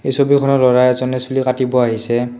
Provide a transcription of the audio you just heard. এই ছবিখনত ল'ৰা এজনে চুলি কাটিব আহিছে।